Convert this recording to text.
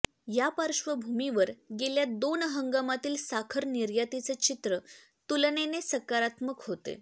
या पार्श्वभूमीवर गेल्या दोन हंगामातील साखर निर्यातीचे चित्र तुलनेने सकारात्मक होते